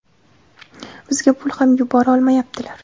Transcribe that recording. bizga pul ham yubora olmayaptilar.